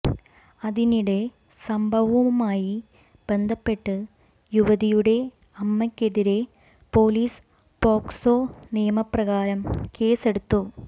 അതിനിടെ സംഭവവുമായി ബന്ധപ്പെട്ട് യുവതിയുടെ അമ്മക്കെതിരെ പോലീസ് പോക്സോ നിയമ പ്രകാരം കേസെടുത്തു